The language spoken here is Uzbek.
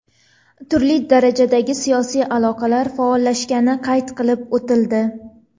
Turli darajadagi siyosiy aloqalar faollashgani qayd qilib o‘tildi.